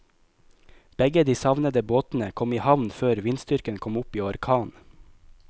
Begge de savnede båtene kom i havn før vindstyrken kom opp i orkan.